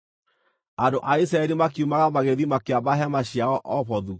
Andũ a Isiraeli makiumagara, magĩthiĩ makĩamba hema ciao Obothu.